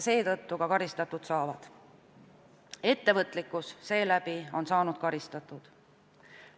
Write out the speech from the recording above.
Seetõttu nad ka karistada saavad, ettevõtlikkus saab karistada.